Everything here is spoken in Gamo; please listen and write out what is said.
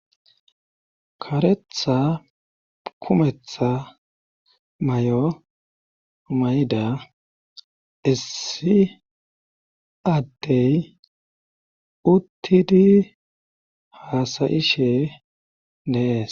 karetha kumetha mayo mayda issi addey uttidi haasayishe de'ees